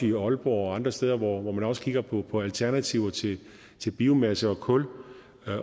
i aalborg og andre steder hvor man også kigger på på alternativer til til biomasse og kul